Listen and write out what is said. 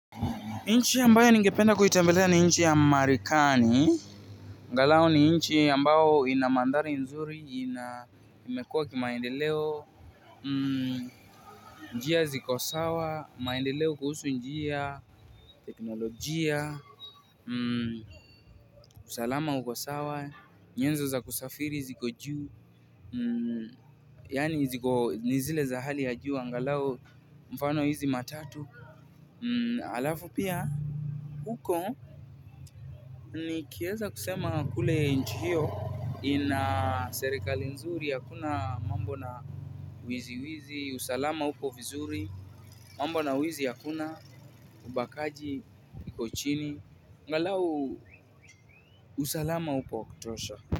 Nchi yambayo ningependa kuitembelea ni nchi ya Marekani agalau ni nchi ambayo ina mandhari nzuri ina imekuwa kimaendeleo njia ziko sawa, maendeleo kuhusu njia. Teknolojia, usalama uko sawa, nyenzo za kusafiri ziko juu yani ziko zile za hali ya juu, ngalau mfano hizi matatu. Alafu pia, huko nikiweza kusema kule nchi hiyo ina serikali nzuri hakuna mambo na wizi wizi, usalama upo vizuri, mambo na wizi hakuna, ubakaji, iko chini, ngalau usalama upo kutosha.